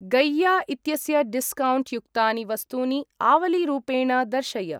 गैया इत्यस्य डिस्कौण्ट् युक्तानि वस्तूनि आवलीरूपेण दर्शय।